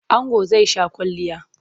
Ango zai sha kwalliya.